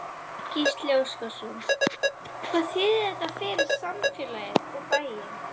Gísli Óskarsson: Hvað þýðir þetta fyrir samfélagið, og bæinn?